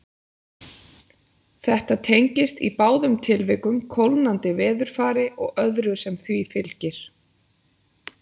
Þetta tengist í báðum tilvikum kólnandi veðurfari og öðru sem því fylgir.